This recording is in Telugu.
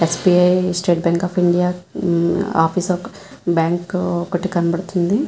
SBI. State bank of India మ్మ్ ఆఫీసు ఆఫ్ బ్యాంక్ ఒకటి కనపడతుంది.